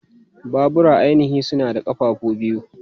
Babura ainihi suna da ƙafafu biyu.